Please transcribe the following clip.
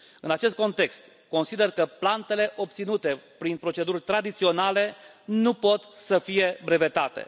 În acest context, consider că plantele obținute prin proceduri tradiționale nu pot să fie brevetate.